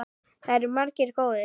Það eru margir góðir.